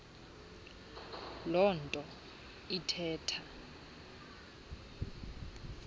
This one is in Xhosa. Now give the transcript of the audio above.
loo nto ithetha